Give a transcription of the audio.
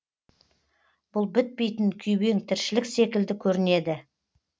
бұл бітпейтін күйбең тіршілік секілді көрінеді